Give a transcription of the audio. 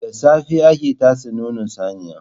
Da safe ake tatse nonon saniya.